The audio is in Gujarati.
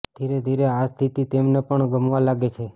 ધીરે ધીરે આ સ્થિતી તેમને પણ ગમવા લાગે છે